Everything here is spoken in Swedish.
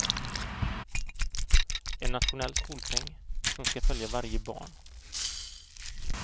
En nationell skolpeng som ska följa varje barn.